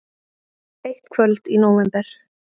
Eitt kvöld í nóvember.